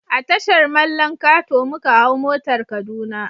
A Tashar mallan kato muka hau motar kaduna